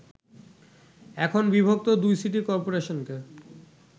এখন বিভক্ত দুই সিটি করপোরেশনকে